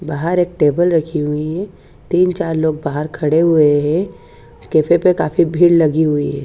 बाहर एक टेबल रखी हुई है तीन चार लोग बाहर खड़े हुए है कैफे पे काफी भीड़ लगी हुई है।